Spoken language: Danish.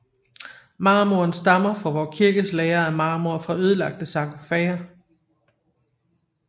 Marmoren stammer fra Vor Frue Kirkes lager af marmor fra ødelagte sarkofager